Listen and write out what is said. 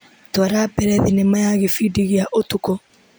Twara mbere thinema ya gĩbindi gĩa ũtukũ.